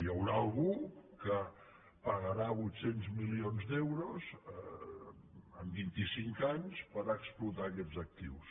hi haurà algú que pagarà vuit cents milions d’euros en vint i cinc anys per explotar aquests actius